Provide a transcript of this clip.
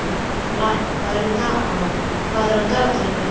Blævar, hvað er á dagatalinu í dag?